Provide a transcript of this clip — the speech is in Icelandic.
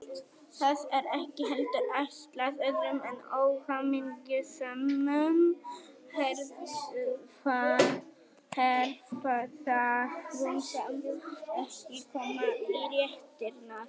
Það er ekki heldur ætlað öðrum en óhamingjusömum hefðarfrúm sem ekki koma í réttirnar.